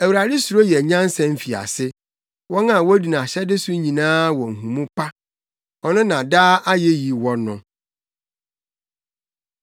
Awurade suro yɛ nyansa mfiase; wɔn a wodi nʼahyɛde so nyinaa wɔ nhumu pa. Ɔno na daa ayeyi wɔ no.